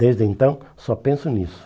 Desde então, só penso nisso.